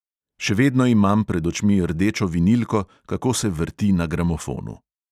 Še vedno imam pred očmi rdečo vinilko, kako se vrti na gramofonu.